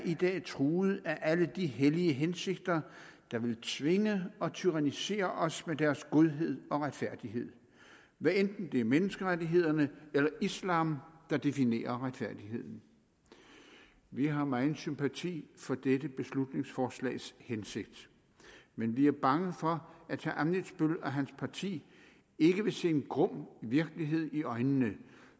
i dag er truet af alle de hellige hensigter der vil tvinge og tyrannisere os med deres godhed og retfærdighed hvad enten det er menneskerettighederne eller islam der definerer retfærdigheden vi har megen sympati for dette beslutningsforslags hensigt men vi er bange for at herre ammitzbøll og hans parti ikke vil se en grum virkelighed i øjnene